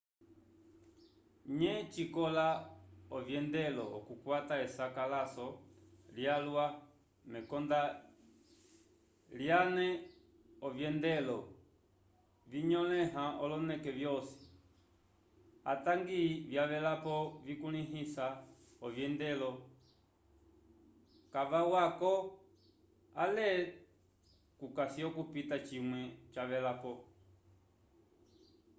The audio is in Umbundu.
nye cikoka ovyendelo okukwata esakalaso lyalwa mekonda lyane ovyendelo vinyolẽha oloneke vyosi atangi vyavelapo vikulĩhisa ovyendelo kavawako ale kukasi okupita cimwe cavelapo